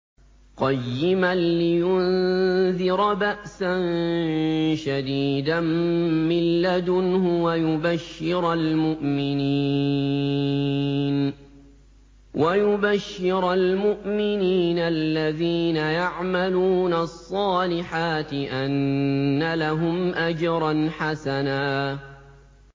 قَيِّمًا لِّيُنذِرَ بَأْسًا شَدِيدًا مِّن لَّدُنْهُ وَيُبَشِّرَ الْمُؤْمِنِينَ الَّذِينَ يَعْمَلُونَ الصَّالِحَاتِ أَنَّ لَهُمْ أَجْرًا حَسَنًا